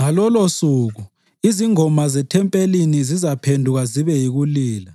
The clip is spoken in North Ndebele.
Ngalolosuku, izingoma zethempelini zizaphenduka zibe yikulila.